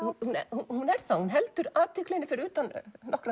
hún er það hún heldur athyglinni fyrir utan nokkra